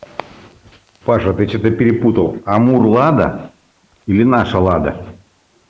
паша ты что-то перепутал амур лада или наша лада